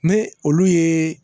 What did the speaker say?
Ne olu ye